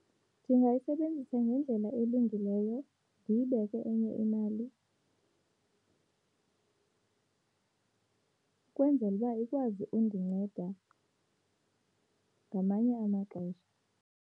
Ndingayisebenzisa ngendlela elungileyo, ndiyibeke enye imali kwenzela uba ikwazi undinceda ngamanye amaxesha.